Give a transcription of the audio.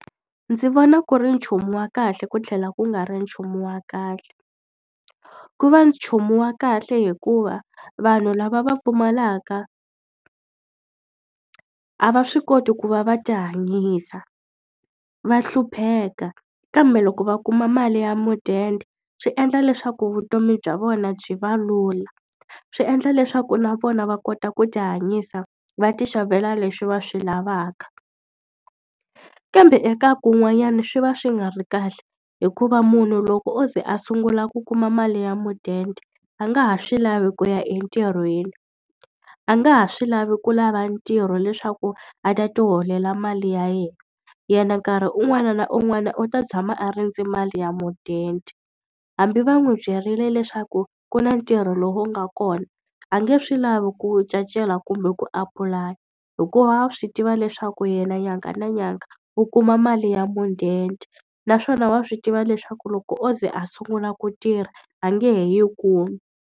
Ndzi vona ku ri nchumu wa kahle ku tlhela ku nga ri nchumu wa kahle. Ku va nchumu wa kahle hikuva vanhu lava va pfumalaka a va swi koti ku va va ti hanyisa, va hlupheka, kambe loko va kuma mali ya mudende swi endla leswaku vutomi bya vona byi va lula. Swi endla leswaku na vona va kota ku ti hanyisa va ti xavela leswi va swi lavaka. Kambe eka kun'wanyani swi va swi nga ri kahle hikuva munhu loko o ze a sungula ku kuma mali ya mudende, a nga ha swi lavi ku ya entirhweni. A nga ha swi lavi ku lava ntirho leswaku a ta ti holela mali ya yena, yena nkarhi un'wana na un'wana u ta tshama a rindze mali ya mudende. Hambi va n'wi byerile leswaku ku na ntirho lowu nga kona, a nge swi lavi ku wu cacela kumbe ku apulaya hikuva wa swi tiva leswaku yena nyanga na nyanga u kuma mali ya mudende. Naswona wa swi tiva leswaku loko o ze a sungula ku tirha, a nge he yi kumi.